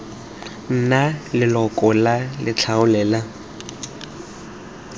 nna leloko la letlole la